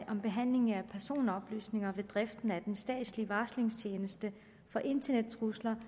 om behandling af personoplysninger ved driften af den statslige varslingstjeneste for internettrusler